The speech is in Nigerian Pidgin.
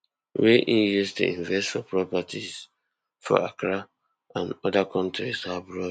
wey im use to invest for properties for accra and oda kontris abroad